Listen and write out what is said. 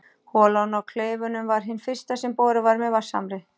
Holan á Kleifunum var hin fyrsta sem boruð var með vatnshamri.